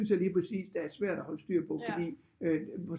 Jeg lige præcis der er svært at holde styr på fordi